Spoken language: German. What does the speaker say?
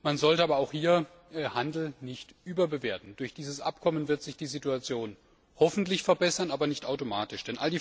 Man sollte aber auch hier Handel nicht überbewerten. Durch dieses Abkommen wird sich die Situation hoffentlich verbessern, aber nicht automatisch.